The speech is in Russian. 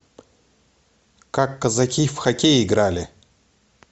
как казаки в хоккей играли